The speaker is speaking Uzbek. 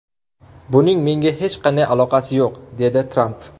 Buning menga hech qanday aloqasi yo‘q”, dedi Tramp.